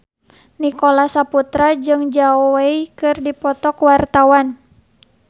Nicholas Saputra jeung Zhao Wei keur dipoto ku wartawan